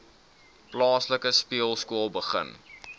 plaaslike speelskool begin